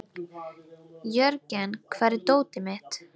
Jörgen, hvar er dótið mitt?